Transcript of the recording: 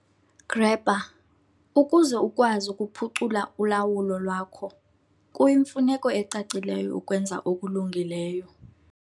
Grabber- Ukuze ukwazi ukuphucula ulawulo lwakho kuyimfuneko ecacileyo ukwenza okulungileyo.